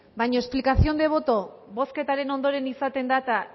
baina explicación de voto bozketaren ondoren izaten da eta